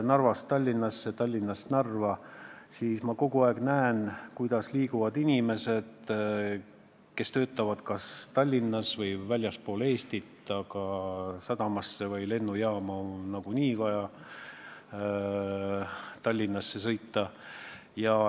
Narvast Tallinnasse ja Tallinnast Narva, siis ma näen, kuidas liiguvad inimesed, kes töötavad kas Tallinnas või väljaspool Eestit, sest sadamasse või lennujaama pääsemiseks on ka nagunii vaja Tallinnasse sõita.